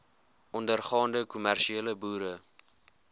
ondergaande kommersiële boere